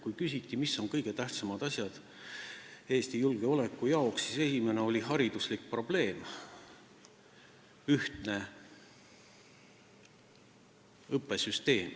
Kui küsiti, mis on kõige tähtsamad asjad Eesti julgeoleku jaoks, siis esimesena ütles ta, et hariduslik probleem, ühtne õppesüsteem.